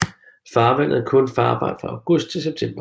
Farvandet er kun farbart fra august til september